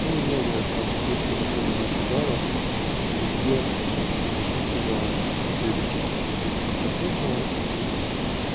ну и новая там фурцева тоже накидала везде написано перекись девяти процентная и